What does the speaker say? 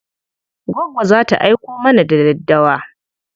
Goggo za ta aiko mana da daddawa.